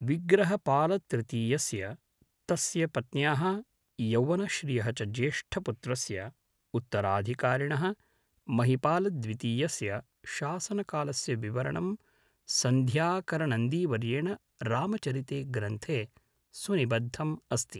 विग्रहपालतृतीयस्य, तस्य पत्न्याः यौवनश्रियः च ज्येष्ठपुत्रस्य, उत्तराधिकारिणः महिपालद्वितीयस्य शासनकालस्य विवरणं सन्ध्याकरनन्दीवर्येण रामचरिते ग्रन्थे सुनिबद्धम् अस्ति।